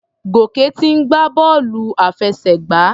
Gòkè ti ń gbá bọ́ọ̀lù àfẹsẹ̀gbá.